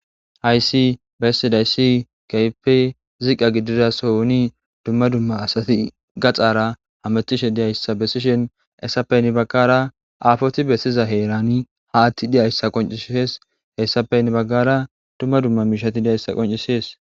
Ayssi bessidayssi keehippe ziqqa gidida sohoni dumma dumma asati gatsaara hamoththisha deyssa bessishin ha asatappe hini baggaara aafoti bessiza heeraani aaththi diya asa qonccisses; ethappe hini baggaara dumma dumma miishshathi daysssa qonccisses.